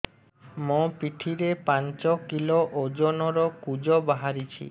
ମୋ ପିଠି ରେ ପାଞ୍ଚ କିଲୋ ଓଜନ ର କୁଜ ବାହାରିଛି